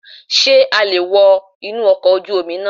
Sé a le è wo inú ọkọ̀ ojú Omi náà